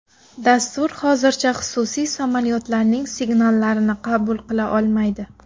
Dastur hozircha xususiy samolyotlarning signallarini qabul qila olmaydi.